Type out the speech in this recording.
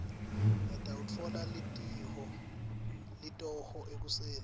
ngitawutfola litoho ekuseni